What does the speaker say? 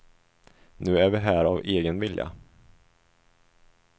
Nu är vi här av egen vilja.